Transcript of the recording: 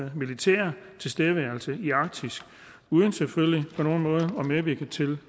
militære tilstedeværelse i arktis uden selvfølgelig på nogen måde at medvirke til